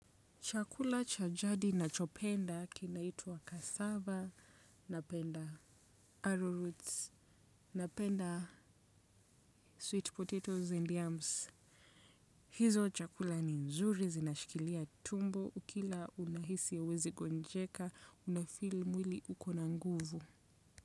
Chakula cha jadi nachopenda kinaitwa cassava, napenda arrow roots, napenda sweet potatoes and yams. Hizo chakula ni nzuri, zinashikilia tumbo. Ukila unahisi huwezi gonjeka, unafeel mwili ukona nguvu.